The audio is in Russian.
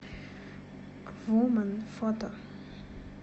ву мэн фото